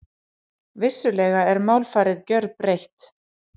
Vissulega er málfarið gjörbreytt.